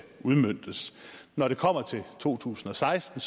udmøntes når det kommer til to tusind og seksten